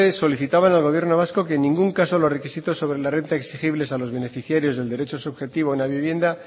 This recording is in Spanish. solicitaban al gobierno vasco que en ningún caso los requisitos sobre las rentas exigibles a los beneficiarios subjetivos de la vivienda